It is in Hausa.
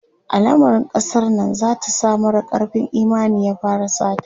alamarin kasar Nan zata sa mara karfin Imani ya fara sata